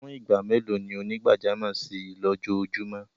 Fún igbá mẹ́lò ni onígbàjàmọ̀ ṣí ilọjóòjúmọ?